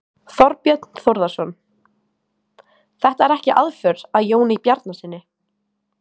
Þorbjörn Þórðarson: Þetta er ekki aðför að Jóni Bjarnasyni?